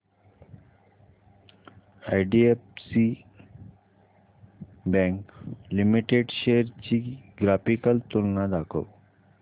IDFC bank limited shares ची graphical तुलना दाखव